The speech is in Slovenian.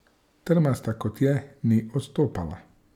Trmasta kot je, ni odstopala.